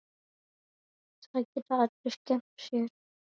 Það geta allir skemmt sér.